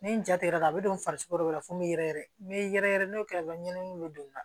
Ni n jatigɛra a bɛ don farisogo dɔ la fo n bɛ yɛrɛyɛrɛ n bɛ yɛrɛ yɛrɛ yɛrɛ n'o kɛra n ɲɛ n bɛ don na